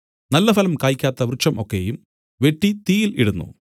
നല്ലഫലം കായ്ക്കാത്ത വൃക്ഷം ഒക്കെയും വെട്ടി തീയിൽ ഇടുന്നു